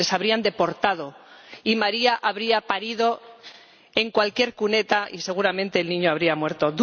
les habrían deportado, y María habría parido en cualquier cuneta y seguramente el niño habría muerto.